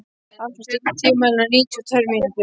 Ásrún, stilltu tímamælinn á níutíu og tvær mínútur.